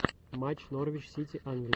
матч норвич сити англия